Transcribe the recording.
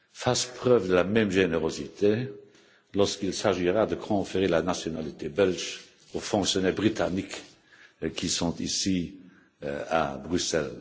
feront preuve de la même générosité lorsqu'il s'agira de conférer la nationalité belge aux fonctionnaires britanniques qui sont ici à Bruxelles.